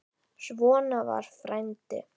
Svona var frændi.